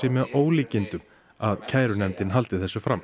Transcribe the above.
með ólíkindum að kærunefndin haldi þessu fram